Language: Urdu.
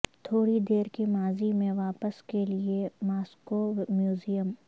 تھوڑی دیر کے ماضی میں واپس کے لیے ماسکو میوزیم